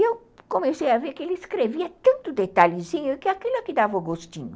E eu comecei a ver que ele escrevia tanto detalhezinho que aquilo é que dava o gostinho.